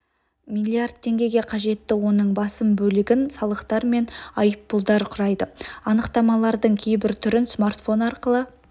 млрд теңгеге жетті оның басым бөлігін салықтар мен айыппұлдар құрайды анықтамалардың кейбір түрін смартфон арқылы